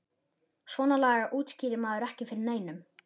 Svona lagað útskýrði maður ekki fyrir neinum.